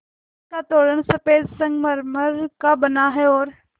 जिसका तोरण सफ़ेद संगमरमर का बना है और